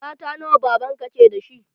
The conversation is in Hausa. Mata nawa baban ka ke da shi?